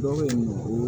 Dɔw bɛ yen